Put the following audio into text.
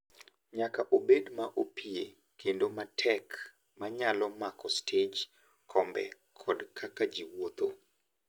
nyaka obed ma opie kendo matek ma nyalo mako stej, kombe, kod kaka ji wuotho.